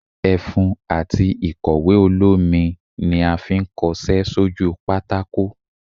efún atí ikọwe olomí ní a fí n kos-wjpé